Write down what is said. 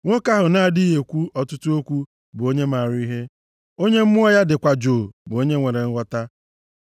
Nwoke ahụ na-adịghị ekwu ọtụtụ okwu bụ onye maara ihe, onye mmụọ ya dịkwa jụụ bụ onye nwere nghọta.